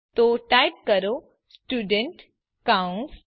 તો ટાઇપ કરો સ્ટુડન્ટ કૌસ